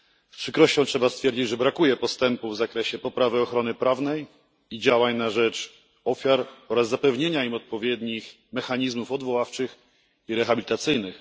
Z przykrością trzeba stwierdzić, że brakuje postępów w zakresie poprawy ochrony prawnej i działań na rzecz ofiar oraz zapewnienia im odpowiednich mechanizmów odwoławczych i rehabilitacyjnych.